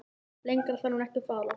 Lengra þarf hann ekki að fara.